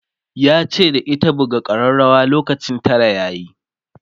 yace da ita"buga karrawar lokacin Tara yayi!'